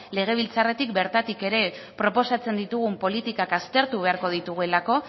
legebiltzarretik bertatik ere proposatzen ditugun politikak aztertu beharko